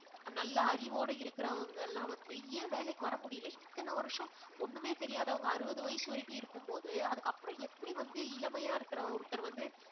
நல்ல அறிவோட இருக்கறவங்கல்லாம் வந்து ஏன் வேலைக்கு வர முடியல இத்தனை வருஷம் ஒண்ணுமே தெரியாதவங்க அறுபது வயசு வரைக்கும் இருக்கும் போது. அதுக்கப்புறம் எப்படி வந்து இளமையா இருக்கிற ஒருத்தர் வந்து